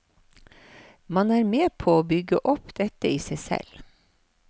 Man er med på å bygge opp dette i seg selv.